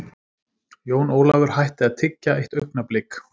Jón Ólafur hætti að tyggja eitt augnablik.